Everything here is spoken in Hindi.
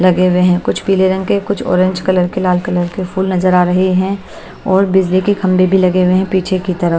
लगे हुए हैं कुछ पीले रंग के कुछ ऑरेंज कलर के लाल कलर के फूल नजर आ रहे हैं और बिजली के खंभे भी लगे हुए हैं पीछे की तरफ।